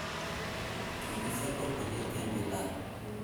kikiser kampunit eng' wilayet